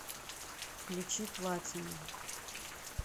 включи платину